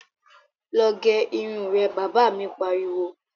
Lọ gẹ irun rẹ', Bàbá mi pariwo